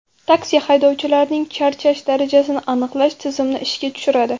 Taksi” haydovchilarning charchash darajasini aniqlash tizimini ishga tushiradi.